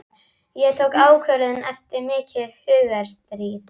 Ég tók ákvörðun eftir mikið hugarstríð.